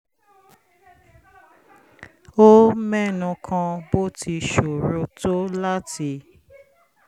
ó mẹ́nu kan bó ti ṣòro tó láti